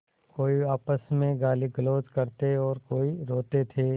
कोई आपस में गालीगलौज करते और कोई रोते थे